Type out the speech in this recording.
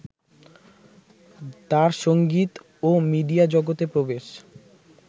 তাঁর সঙ্গীত ও মিডিয়া জগতে প্রবেশ